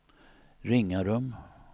Ringarum